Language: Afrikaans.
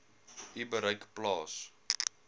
u bereik plaas